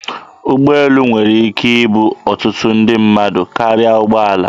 Ụgbọelu nwere ike ibu ọtụtụ ndị mmadụ karịa ụgbọala.